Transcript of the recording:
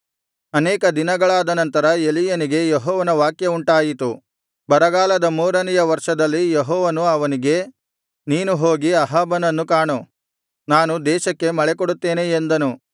ಅನೇಕ ದಿನಗಳಾದ ನಂತರ ಎಲೀಯನಿಗೆ ಯೆಹೋವನ ವಾಕ್ಯವುಂಟಾಯಿತು ಬರಗಾಲದ ಮೂರನೆಯ ವರ್ಷದಲ್ಲಿ ಯೆಹೋವನು ಅವನಿಗೆ ನೀನು ಹೋಗಿ ಅಹಾಬನನ್ನು ಕಾಣು ನಾನು ದೇಶಕ್ಕೆ ಮಳೆ ಕೊಡುತ್ತೇನೆ ಎಂದನು